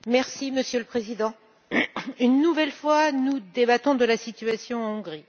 Monsieur le Président, une nouvelle fois, nous débattons de la situation en Hongrie.